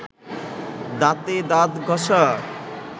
দাঁতে দাঁত ঘষা